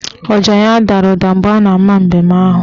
Ọja ya dara ụda mgbe a na ama mbem ahụ